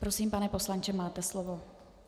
Prosím, pane poslanče, máte slovo.